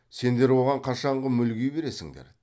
сендер оған қашанғы мүлги бересіңдер